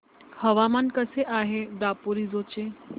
हवामान कसे आहे दापोरिजो चे